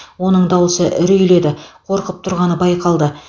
оның дауысы үрейлі еді қорқып тұрғаны байқалды